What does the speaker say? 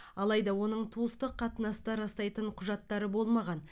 алайда оның туыстық қатынасты растайтын құжаттары болмаған